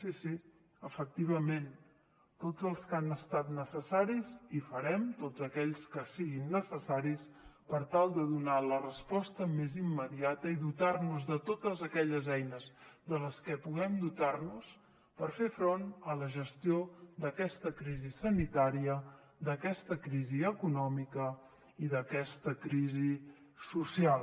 sí sí efectivament tots els que han estat necessaris i farem tots aquells que siguin necessaris per tal de donar la resposta més immediata i dotar nos de totes aquelles eines de les que puguem dotar nos per fer front a la gestió d’aquesta crisi sanitària d’aquesta crisi econòmica i d’aquesta crisi social